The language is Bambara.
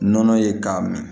Nɔnɔ ye k'a minɛ